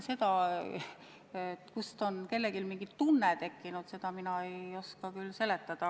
Seda, kust on kellelgi mingi tunne tekkinud, mina ei oska küll seletada.